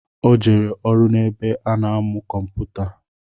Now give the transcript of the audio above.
O jere ọrụ n'ebe ọ na-amụ kụmpụta